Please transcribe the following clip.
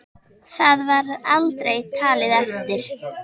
Það var aldrei talið eftir.